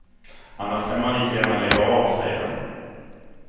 Annars kan man lika gärna lägga av, säger han.